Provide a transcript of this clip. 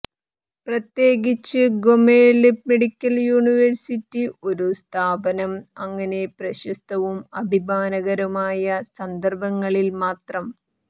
പ്രത്യേകിച്ച് Gomel medical university ഒരു സ്ഥാപനം അങ്ങനെ പ്രശസ്തവും അഭിമാനകരമായ സന്ദർഭങ്ങളിൽമാത്രം